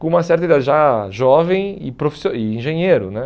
com uma certa idade, já jovem e profissio e engenheiro né.